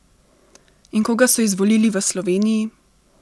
In koga so izvolili v Sloveniji?